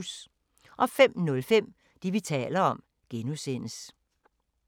05:05: Det, vi taler om (G)